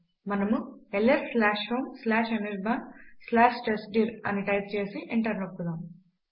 మనము ls homeanirbantestdir అని type చేసి ఎంటర్ నొక్కుదాం